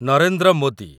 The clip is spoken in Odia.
ନରେନ୍ଦ୍ର ମୋଦି